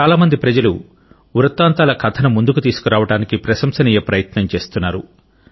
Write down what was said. చాలా మంది ప్రజలు వృతాంతముల కథను ముందుకు తీసుకురావడానికి ప్రశంసనీయ ప్రయత్నం చేస్తున్నారు